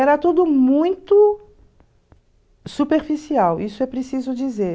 Era tudo muito superficial, isso é preciso dizer.